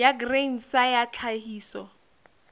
ya grain sa ya tlhahiso